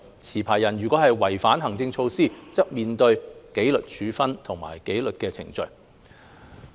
持牌人如果違反行政措施，則須面對紀律程序和處分。